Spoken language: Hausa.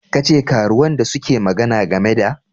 Ke ce karuwan da suke magana game da?